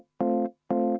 Jah.